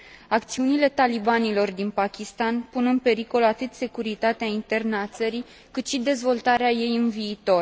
Acțiunile talibanilor din Pakistan pun în pericol atât securitatea internă a țării, cât și dezvoltarea ei în viitor.